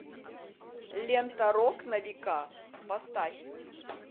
лента рок на века поставь